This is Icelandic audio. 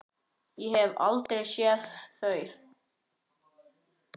Ég hef aldrei séð þau!